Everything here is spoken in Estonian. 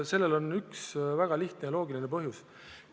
Sellel on väga lihtne ja loogiline põhjus.